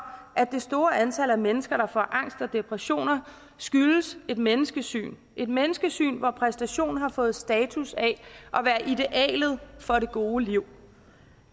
at det store antal af mennesker der får angst og depressioner skyldes et menneskesyn et menneskesyn hvor præstation har fået status af at være idealet for det gode liv